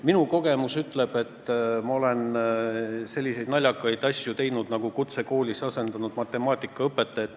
Ma olen teinud selliseid naljakaid asju, et olen näiteks kutsekoolis asendanud matemaatikaõpetajat.